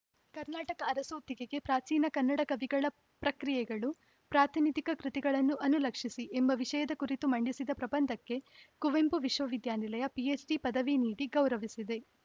ಕರ್ನಾಟಕ ಅರಸೋತ್ತಿಗೆಗೆ ಪ್ರಾಚೀನ ಕನ್ನಡ ಕವಿಗಳ ಪ್ರಕ್ರಿಯೆಗಳು ಪ್ರಾತಿನಿಧಿಕ ಕೃತಿಗಳನ್ನು ಅನುಲಕ್ಷಿಸಿಎಂಬ ವಿಷಯದ ಕುರಿತು ಮಂಡಿಸಿದ ಪ್ರಬಂಧಕ್ಕೆ ಕುವೆಂಪು ವಿಶ್ವವಿದ್ಯಾನಿಲಯ ಪಿಎಚ್‌ಡಿ ಪದವಿ ನೀಡಿ ಗೌರವಿಸಿದೆ